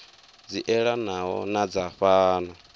dzi elanaho na dza fhano